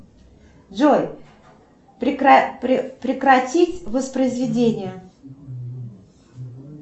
джой прекратить воспроизведение